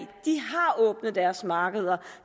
de har åbnet deres markeder